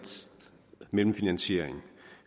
mellemfinansiering